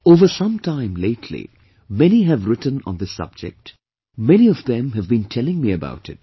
Over some time lately, many have written on this subject; many of them have been telling me about it